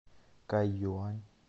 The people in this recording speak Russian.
кайюань